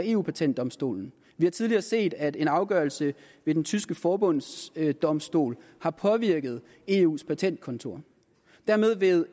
eu patentdomstolen vi har tidligere set at en afgørelse ved den tyske forbundsdomstol har påvirket eus patentkontor dermed vil